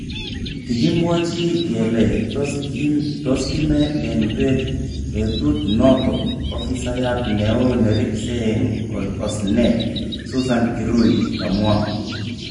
Kikimwochi kele toskime eng bek betut noton ,"ofisayat neo neribse eng osnet, susan kirui kamwa.